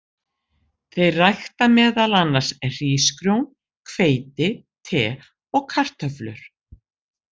Þeir rækta meðal annars hrísgrjón, hveiti, te og kartöflur.